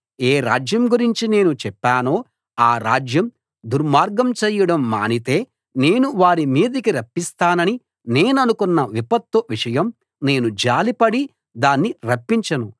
ఏ రాజ్యం గురించి నేను చెప్పానో ఆ రాజ్యం దుర్మార్గం చేయడం మానితే నేను వారి మీదికి రప్పిస్తానని నేననుకున్న విపత్తు విషయం నేను జాలిపడి దాన్ని రప్పించను